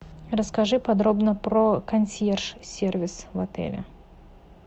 расскажи подробно про консьерж сервис в отеле